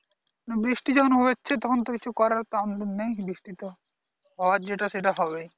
বৃষ্টি যখন হচ্ছে তখন তো কিছু করার আমাদের নেই বৃষ্টি তো হওয়ার যেটা সেটা হবেই